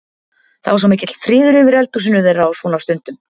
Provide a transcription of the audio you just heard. Það var svo mikill friður yfir eldhúsinu þeirra á svona stundum.